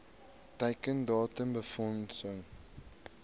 teiken datum befondsing